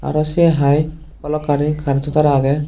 aro se haai balokkani currento tar agey.